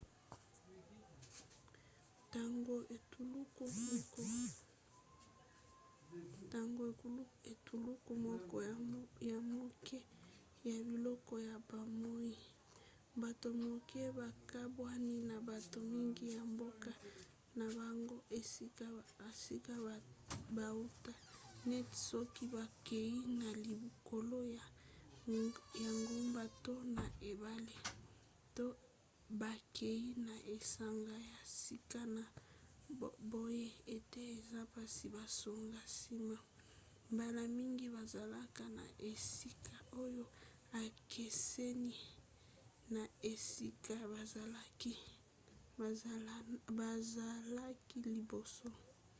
ntango etuluku moko ya moke ya biloko ya bomoi bato moke bakabwani na bato mingi ya mboka na bango esika bauta neti soki bakei na likolo ya ngomba to na ebale to bakei na esanga ya sika na boye ete eza mpasi bazonga nsima mbala mingi bazalaka na esika oyo ekeseni na esika bazalaki liboso